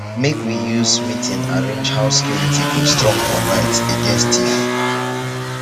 make we use meeting arrange how security go strong for night against thief.